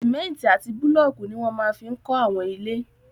Sìmẹ́ntì àti búlọ̀kù ní wọ́n máa fi n kọ́ àwọn ilé